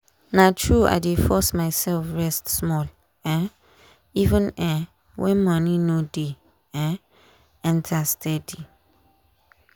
na true i dey force myself rest small um even um when money no dey um enter steady.